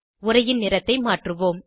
உரையின் நிறத்தை மாற்றுவோம்